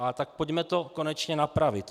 No tak pojďme to konečně napravit.